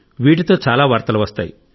వీటితో చాలా వార్తలు వస్తాయి